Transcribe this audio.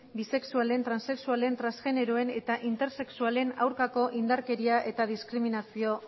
bisexualen transexualen transgeneroen eta intersexualen aurkako indarkeria eta diskriminazio